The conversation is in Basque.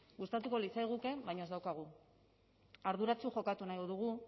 gustatuko litzaiguke baina ez daukagu arduratsu jokatu nahi dugu